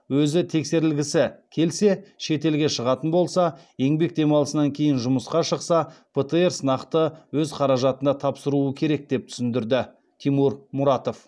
өзі тексерілгісі келсе шетелге шығатын болса еңбек демалысынан кейін жұмысқа шықса птр сынақты өз қаражатына тапсыруы керек деп түсіндірді тимур мұратов